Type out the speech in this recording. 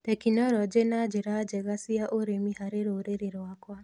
tekinoronjĩ na njĩra njega cia ũrĩmi harĩ rũrĩrĩ rwakwa.